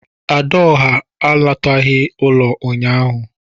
"Adaọhá" àlátaghi ụlọ ụnyaahụ